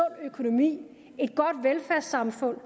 økonomi et godt velfærdssamfund